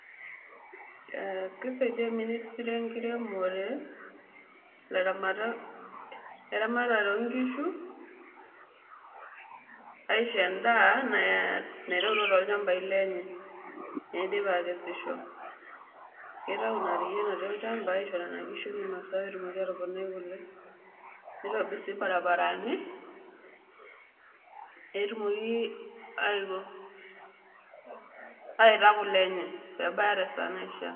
Aa keisaidia ministry enkiremore laramatak laramatak loonkishu asihoo endaa naaitayutuo toolchambai lenye tenepuo akesisho keitayu in riaa natii olchamba aisho inkishu meinosa peetumoki aatoponai kule nitobir sii barabarani pee tumoki aiko aitaa kule enye peebaya tesaa naishiaa .